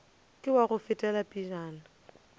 ke wa go fetela pejana